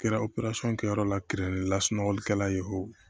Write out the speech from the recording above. Kɛra kɛyɔrɔ la kerɛnɔgɔlikɛla ye wo